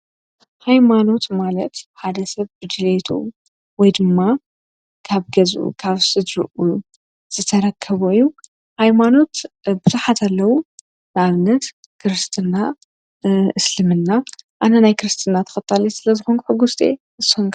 ኃይማኖት ማለት ሓደ ሰብ ብድለቱ ወይ ድማ ካብ ገዙ ካብ ስድርኡ ዘተረከቦ ናይ ኃይማኖት ብዙሓት ኣለዉ ኣብነት ክርስትና ፡እስልምና ኣነ ናይ ክርስትና ተኸታልት ስለ ዘኾንክ ሕጉሥቲየ ኣነ።